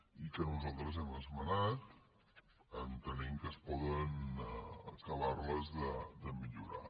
i que nosaltres hem esmenat entenent que es poden acabar de millorar